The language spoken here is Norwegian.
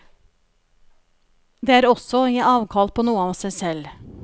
Det er også å vi avkall på noe av seg selv.